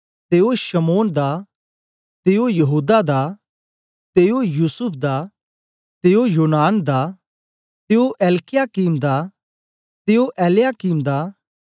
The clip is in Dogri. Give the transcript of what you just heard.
ते ओ शमौन दा ते ओ यहूदा दा ते ओ युसूफ दा ते ओ योनान दा ते ओ एलयाकीम दा